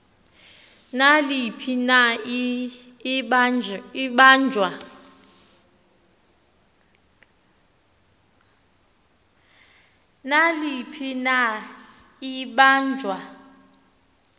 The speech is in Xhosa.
naliphi na ibanjwa